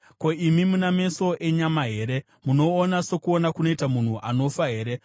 Ko, imi muna meso enyama here? Munoona sokuona kunoita munhu anofa here?